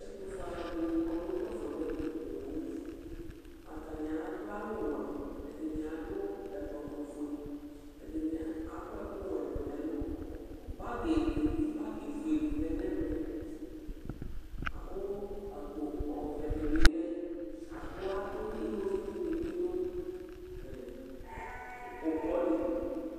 ɛtʊƒʊe alʊɛɗɩnɩ ƙɔnʊ ʊƙpaƒo nʊ ɛmɛ poo atanɩa ɗʊ awʊ ɔwʊɛ ɛɗɩnɩaɗʊ awʊ oƒʊe ɛɗɩnɩaƙɔ ɛƙʊwɛ ɗʊnɛlʊ golo oƒʊeɗɩ ɔlenɛmɛ mɛ aƙpo ɔʋɛɗɩɓɩ ɔlɛ nʊ ɛmɛ aɗʊ ɩwovɩʊ ɗɩnɩɓɩɗʊ ʊƙpoɗɩlɩ